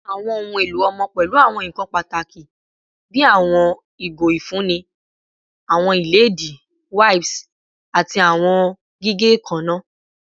Awọn ohun elo ọmọ pẹlu awọn nkan pataki bii awọn igo ifunni, awọn iledìí, wipes, ati awọn gige eekanna